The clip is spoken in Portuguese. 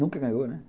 Nunca ganhou, né?